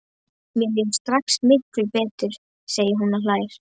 Mér líður strax miklu betur, segir hún og hlær.